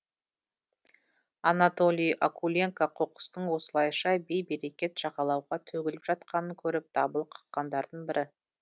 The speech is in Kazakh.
анатолий окуленко қоқыстың осылайша бейберекет жағалауға төгіліп жатқанын көріп дабыл қаққандардың бірі